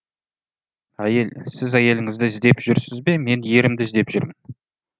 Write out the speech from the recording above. әйел сіз әйеліңізді іздеп жүрсіз бе мен ерімді іздеп жүрмін